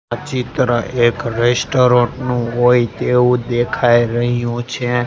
આ ચિત્ર એક રેસ્ટોરન્ટ નું હોય તેવું દેખાઈ રહ્યું છે.